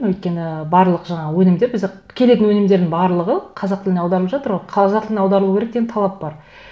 өйткені барлық жаңағы өнімдер бізде келетін өнімдердің барлығы қазақ тіліне аударылып жатыр ғой қазақ тіліне аударылу керек деген талап бар